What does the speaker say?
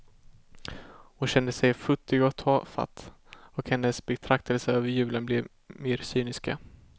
Hon kände sig futtig och tafatt, och hennes betraktelser över julen blev mer cyniska.